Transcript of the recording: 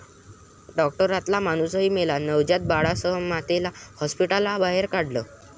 डाॅक्टरातला माणूसही मेला, नवजात बाळासह मातेला हाॅस्पिटलबाहेर काढलं